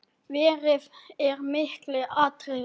Veðrið er mikið atriði.